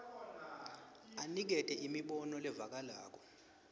unikete imibono levakalako